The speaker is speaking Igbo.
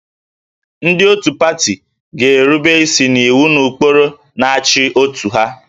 Ndị otu pati ga-erube isi n'iwu na ụkpụrụ na-achị otu ha